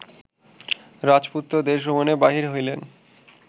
রাজপুত্র দেশভ্রমণে বাহির হইলেন